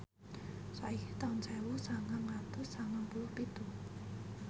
saiki taun sewu sangang atus sangang puluh pitu